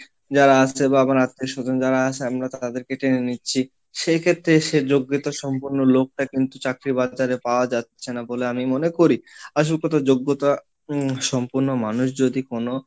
যারা আসছে বা আমার আত্মীয় স্বজন যারা আছে আমরা তো তাদেরকে টেনে নিচ্ছি, সেই ক্ষেত্রে এসে যোগ্যতা সম্পন্ন লোকটা কিন্তু চাকরি পাওয়া যাচ্ছে না বলে আমি মনে করি, আসল কথা যোগ্যতা সম্পন্ন মানুষ যদি কোনো,